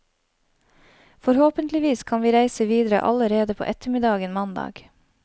Forhåpentligvis kan vi reise videre allerede på ettermiddagen mandag.